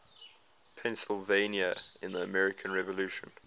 pennsylvania in the american revolution